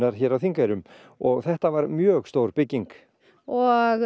hér á Þingeyrum og þetta var mjög stór bygging og